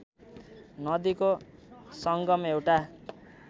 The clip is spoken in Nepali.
नदीको सङ्गम एउटा